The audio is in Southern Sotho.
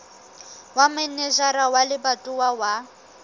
ya manejara wa lebatowa wa